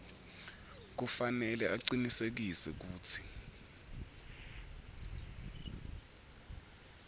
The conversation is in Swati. kufanele acinisekise kutsi